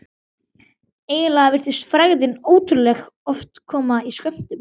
Eiginlega virtist frægðin ótrúlega oft koma í skömmtum.